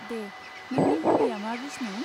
दे, नोंनि हबिया मा बिस्नु?